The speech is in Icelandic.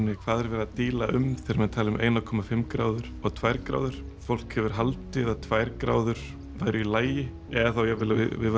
hvað er verið að díla um þegar menn tala um eina komma fimm gráður og tvær gráður fólk hefur haldið að tvær gráður væru í lagi eða þá jafnvel að við